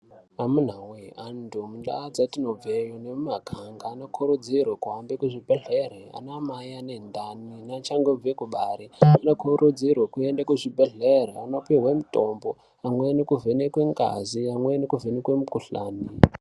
Amunawe antu munandau dzetinobva nemimaganga anokurudzirwe kuhambe kuzvibhehlera. Ana mai ane ndani neachangobve kubara zvinokurudzirwa kuenda kuzvibhehlera eyindopuwe mitombo, amweni kuvhenekwa ngazi amweni kuvhenekwe mikhuhlane.